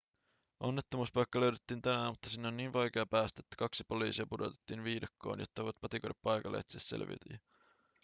onnettomuuspaikka löydettiin tänään mutta sinne on niin vaikea päästä että kaksi poliisia pudotettiin viidakkoon jotta he voivat patikoida paikalle ja etsiä selviytyjiä